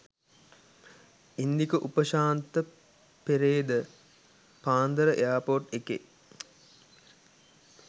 ඉන්දික උපශාන්තපෙරේද පාන්දර එයාර්පෝර්ට් එකේ